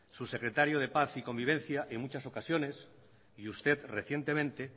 su secretario de paz y convivencia en muchas ocasiones y usted recientemente